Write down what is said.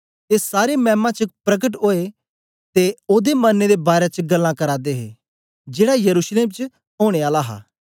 ए सारे मैमा च प्रकट ओए ए ते ओदे मरने दे बारै च गल्लां करा दे हे जेड़ा यरूशलेम च ओनें आला हा